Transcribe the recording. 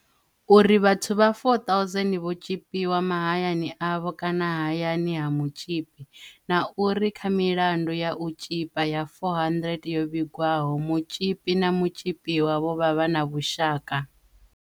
uri vhathu vha 4,000 vho tzhipiwa mahayani avho kana hayani ha mutzhipi, na uri kha milandu ya u tzhipa ya 400 yo vhigwaho, mutzhipi na mutzhipiwa vho vha vha na vhushaka.